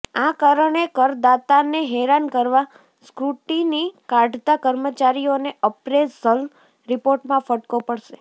આ કારણે કરદાતાને હેરાન કરવા સ્ક્રુટિની કાઢતા કર્મચારીઓને અપ્રેઝલ રિપોર્ટમાં ફટકો પડશે